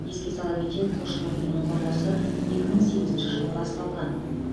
еске сала кетейік құлшылық үйінің құрылысы екі мың сегізінші жылы басталған